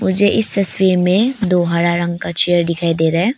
मुझे इस तस्वीर में दो हरा रंग का चेयर दिखाई दे रहा है।